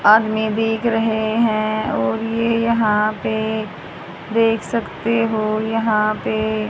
आदमी दिख रहे हैं और ये यहां पे देख सकते हो यहां पे--